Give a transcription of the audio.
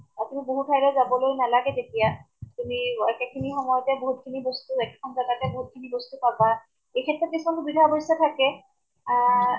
আপুনি বহুত ঠাই লৈ যাবলৈ নালাগে তেতিয়া । তুমি একে খিনি সময়তে বহুত খিনি বস্তু একেখন জেগাতে বহুত খিনি বস্তু পাবা , এই ক্ষেত্ৰত কিছুমান সুবিধা অৱশ্য়ে থাকে । আ